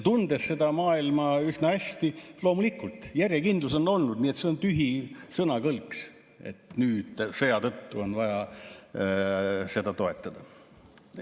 Tunnen seda maailma üsna hästi, loomulikult, järjekindlus on olnud, nii et see on tühi sõnakõlks, et nüüd sõja tõttu on vaja seda toetada.